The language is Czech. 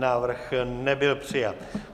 Návrh nebyl přijat.